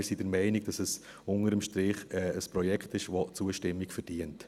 Wir sind der Meinung, dass es unter dem Strich ein Projekt ist, das Zustimmung verdient.